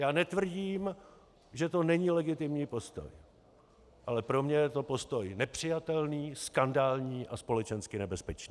Já netvrdím, že to není legitimní postoj, ale pro mě je to postoj nepřijatelný, skandální a společensky nebezpečný.